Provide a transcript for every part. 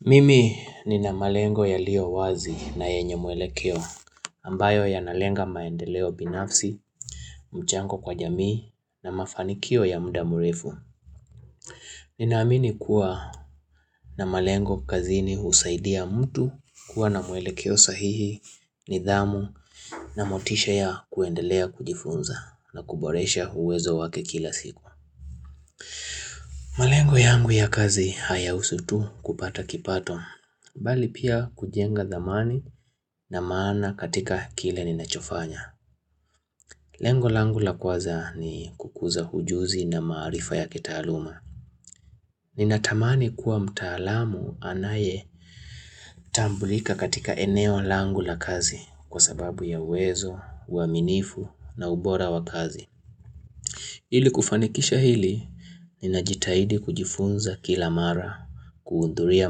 Mimi nina malengo yaliyowazi na yenye mwelekeo ambayo yanalenga maendeleo binafsi, mchango kwa jamii na mafanikio ya mda mrefu. Ninaamini kuwa na malengo kazini husaidia mtu kuwa na mwelekeo sahihi nidhamu na motisha ya kuendelea kujifunza na kuboresha uwezo wake kila siku. Malengo yangu ya kazi hayahusu tu kupata kipato, bali pia kujenga dhamani na maana katika kile ninachofanya. Lengo langu la kwanza ni kukuza ujuzi na maarifa ya kitaaluma. Ninatamani kuwa mtaalamu anaye tambulika katika eneo langu la kazi kwa sababu ya uwezo, uaminifu na ubora wa kazi. Ili kufanikisha hili, ninajitahidi kujifunza kila mara, kuundhuria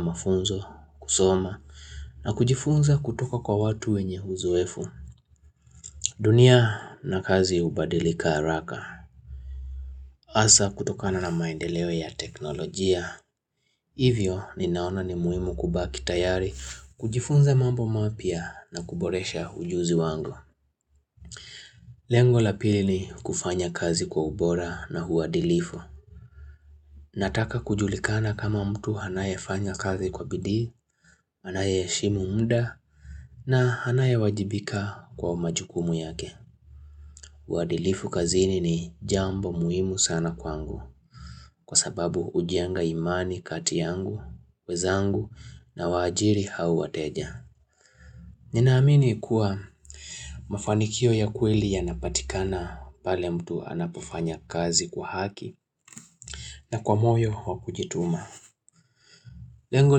mafunzo, kusoma, na kujifunza kutoka kwa watu wenye uzoefu. Dunia na kazi hubadilika haraka, hasa kutokana na maendeleo ya teknolojia. Hivyo, ninaona ni muhimu kubaki tayari, kujifunza mambo mapya na kuboresha ujuzi wangu. Lengo la pili ni kufanya kazi kwa ubora na uadilifu. Nataka kujulikana kama mtu anayefanya kazi kwa bidii, anayeheshimu mda na anayewajibika kwa majukumu yake. Uadilifu kazini ni jambo muhimu sana kwangu kwa sababu hujenga imani kati yangu, wenzangu nawaajiri hao wateja. Ninaamini kuwa mafanikio ya kweli yanapatikana pale mtu anapofanya kazi kwa haki na kwa moyo wa kujituma. Lengo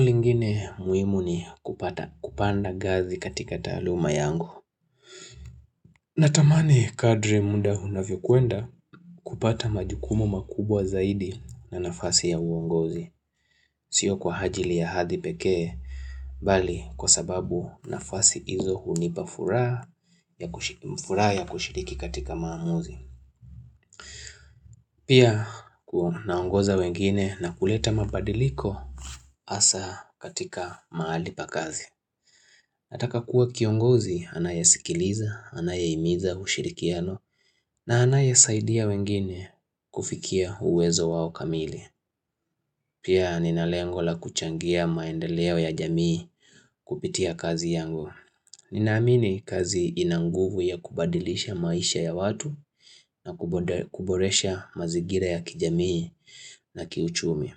lingine muhimu ni kupanda ngazi katika taaluma yangu. Natamani kadri muda unavyokwenda kupata majukumu makubwa zaidi na nafasi ya uongozi. Sio kwa ajili ya hadhi pekee, bali kwa sababu nafasi izo hunipa furaha ya kushiriki katika maamuzi Pia kunaongoza wengine na kuleta mabadiliko hasa katika mahali pa kazi Nataka kuwa kiongozi anayesikiliza, anayehimiza ushirikiano na anayesaidia wengine kufikia uwezo wao kamili Pia nina lengo la kuchangia maendeleo ya jamii kupitia kazi yangu Ninaamini kazi ina nguvu ya kubadilisha maisha ya watu na kuboresha mazingira ya kijamii na kiuchumi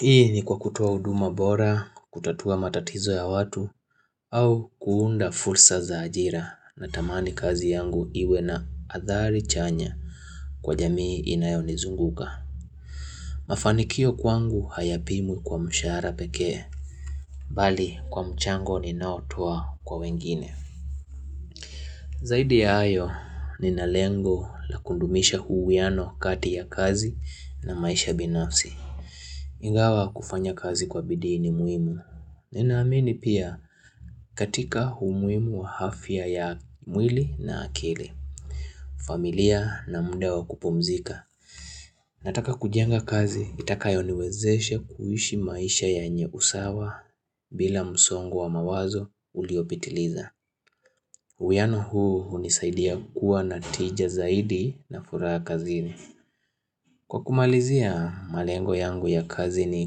Hii ni kwa kutoa huduma bora, kutatua matatizo ya watu au kuunda fursa za ajira. Natamani kazi yangu iwe na athari chanya kwa jamii inayonizunguka. Mafanikio kwangu hayapimwi kwa mshahara pekee. Bali kwa mchango ninaotoa kwa wengine Zaidi ya hayo nina lengo la kudumisha huuwiano kati ya kazi na maisha binafsi. Ingawa kufanya kazi kwa bidii ni muhimu. Ninaamini pia katika umuhimu wa afya ya mwili na akili familia na muda wa kupumzika. Nataka kujenga kazi, itakayoniwezeshe kuishi maisha yenye usawa bila msongo wa mawazo uliopitiliza. Huuwiano huu hunisaidia kuwa na tija zaidi na furaha kazini. Kwa kumalizia, malengo yangu ya kazi ni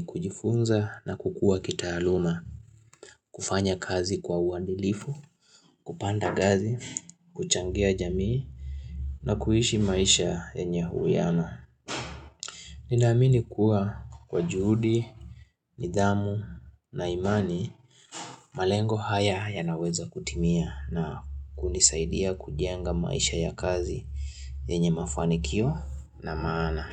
kujifunza na kukua kitaaluma, kufanya kazi kwa uadilifu, kupanda ngazi, kuchangia jamii, na kuishi maisha yenye huuwiano. Ninaamini kuwa kwa juhudi, nidhamu na imani malengo haya yanaweza kutimia na kunisaidia kujenga maisha ya kazi yenye mafanikio na maana.